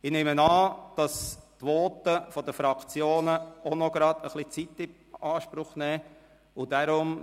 Ich nehme an, dass die Voten der Fraktionen auch ein wenig Zeit in Anspruch nehmen werden.